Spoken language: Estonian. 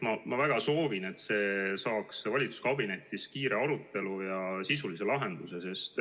Ma väga soovin, et see saaks valitsuskabinetis kiiresti arutatud ja sisulise lahenduse.